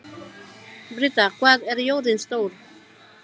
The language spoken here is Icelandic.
Britta, hvað er jörðin stór?